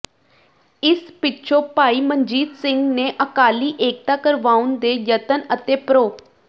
ਇਸ ਪਿਛੋਂ ਭਾਈ ਮਨਜੀਤ ਸਿੰਘ ਨੇ ਅਕਾਲੀ ਏਕਤਾ ਕਰਵਾਉਣ ਦੇ ਯਤਨ ਅਤੇ ਪ੍ਰੋ